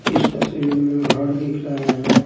इस तस्वीर में घर दिख रहा हैं।